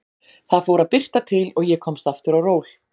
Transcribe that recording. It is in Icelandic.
Það fór að birta til og ég komst aftur á ról.